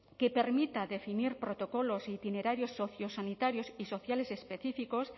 que permita definir protocolos e itinerarios sociosanitarios y sociales específicos